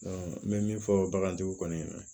n bɛ min fɔ bagantigiw kɔni